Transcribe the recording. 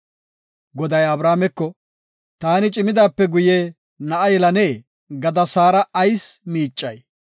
Goday Abrahaameko, “ ‘Taani cimidaape guye na7a yelane’ gada Saara ayis miicay?